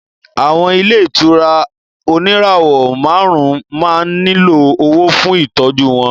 Àwọn ilé ìtura oníràwọ̀ márùn-ún máa ń nílò owó fún Ìtọ́jú wọn